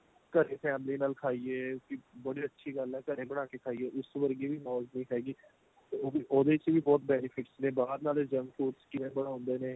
ਘਰੇ family ਨਾਲ ਖਾਈਏ ਵੀ ਬੜੀ ਅੱਛੀ ਗੱਲ ਏ ਘਰੇ ਬਣਾ ਕੇ ਖਾਈਏ ਉਸ ਵਰਗੀ ਵੀ ਮੋਜ ਨਹੀਂ ਹੈਗੀ ਉਹਦੇ ਚ ਵੀ ਬਹੁਤ benefits ਨੇ ਬਾਹਰ ਨਾਲੇ junk foods ਕਿਵੇਂ ਬਣਾਂਦੇ ਨੇ